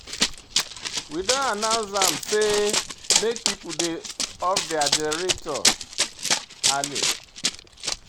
We don announce am sey make pipo dey off their generator early.